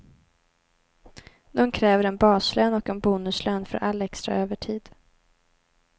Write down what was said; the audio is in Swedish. De kräver en baslön och en bonuslön för all extra övertid.